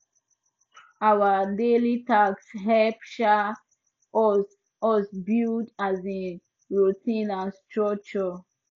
our daily tasks help um us us build um routine and structure